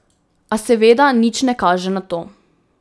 A seveda nič ne kaže na to.